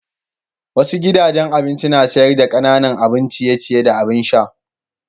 Wasu gidajen abinci na sayar da kananan abin ciye-ciye da abin sha.